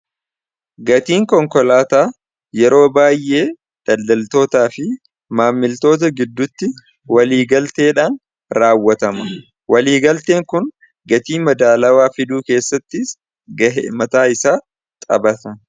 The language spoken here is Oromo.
gatiin konkolaataa yeroo baay'ee daldaltootaa fi maammiltoota giddutti waliigalteedhaan raawwatama waliigalteen kun gatii madaalawaa fiduu keessattis gahe mataa isaa taphata